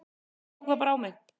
Ég tók það bara á mig.